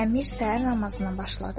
Əmir səhər namazına başladı.